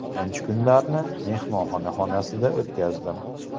Birinchi kunlarni mehmonxona xonasida o‘tkazdim.